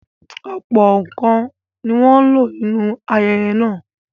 Ọ̀pọ̀ nǹkan ni wọ́n ń lò nínú ayẹyẹ náà.